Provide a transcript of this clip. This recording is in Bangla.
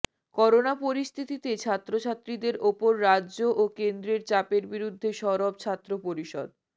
করোনা পরিস্থিতিতে ছাত্রছাত্রীদের ওপর রাজ্য ও কেন্দ্রের চাপের বিরুদ্ধে সরব ছাত্র পরিষদ